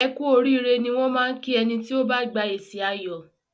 Ẹ kú oríire ni wọn máá ń kí ẹni tí ó bá gba èsì ayọ̀